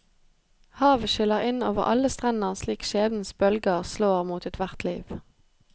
Havet skyller inn over alle strender slik skjebnens bølger slår mot ethvert liv.